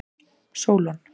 Sólon